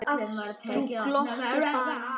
Þú glottir bara!